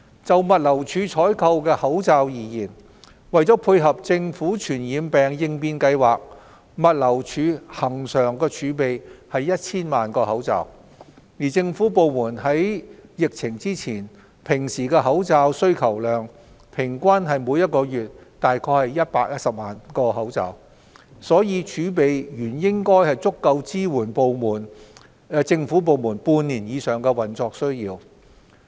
就物流署採購的口罩而言，為配合政府傳染病應變計劃，物流署恆常儲備 1,000 萬個口罩，而政府部門在平時的口罩需求量平均為每月約110多萬個，儲備原應足夠支援政府部門半年以上的運作需要。